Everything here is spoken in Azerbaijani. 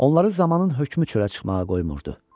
Onları zamanın hökmü çölə çıxmağa qoymurdu.